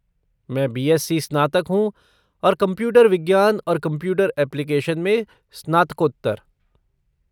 मैं बी.एस.सी. स्नातक हूँ और कंप्यूटर विज्ञान और कंप्यूटर एप्लीकेशन में स्नातकोत्तर।